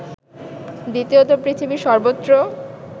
দ্বিতীয়ত, পৃথিবীর সর্বত্র